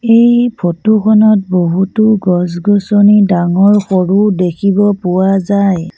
এই ফটো খনত বহুতো গছ গছনি ডাঙৰ সৰু দেখিব পোৱা যায়।